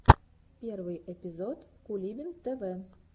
первый эпизод кулибин тв